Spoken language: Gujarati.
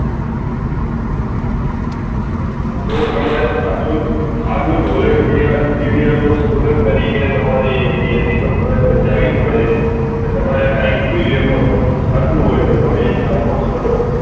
તો તમારે જાગ્રુત volunteer BVM STUDENT તરીકે આવી ફરજ બજાવી પડે કે કઈ ખોટું થતું હોય તો support ના